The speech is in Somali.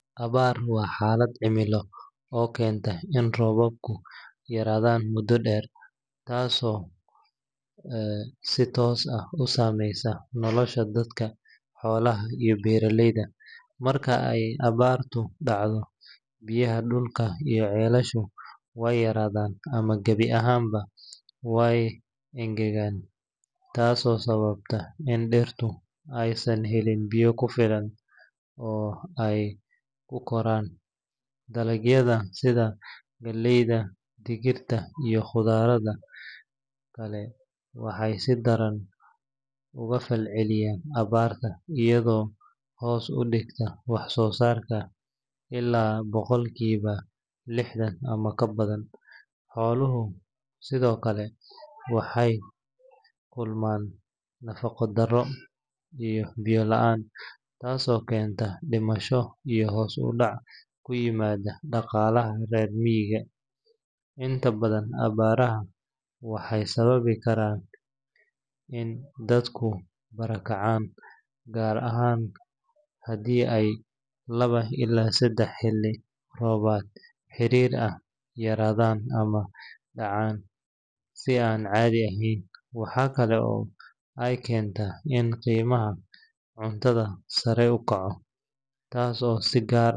Abaar waa xaalad cimilo oo keenta in roobabku yaraadaan muddo dheer, taasoo si toos ah u saameysa nolosha dadka, xoolaha, iyo beeraleyda. Marka ay abaartu dhacdo, biyaha dhulka iyo ceelasha way yaraadaan ama gabi ahaanba way engegaan, taasoo sababta in dhirta aysan helin biyo ku filan oo ay ku koraan. Dalagyada sida galleyda, digirta, iyo khudradda kale waxay si daran uga falceliyaan abaarta, iyadoo hoos u dhigta wax-soosaarka ilaa boqolkiiba lixdan ama ka badan. Xooluhu sidoo kale waxay la kulmaan nafaqo-darro iyo biyo la’aan, taasoo keenta dhimasho iyo hoos u dhac ku yimaada dhaqaalaha reer miyiga. Inta badan abaaraha waxay sababi karaan in dadku barakacaan, gaar ahaan haddii ay laba ilaa saddex xilli roobaad xiriir ah yaraadaan ama dhacaan si aan caadi ahayn. Waxaa kale oo ay keentaa in qiimaha cuntada sare u kaco, taas oo si gaar.